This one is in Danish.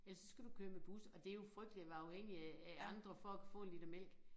Ellers så skal du køre med bus og det jo frygteligt at være afhængig af af andre for at kunne få en liter mælk